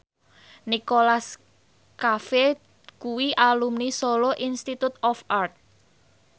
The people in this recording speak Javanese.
Nicholas Cafe kuwi alumni Solo Institute of Art